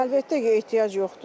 Əlbəttə ki, ehtiyac yoxdur da.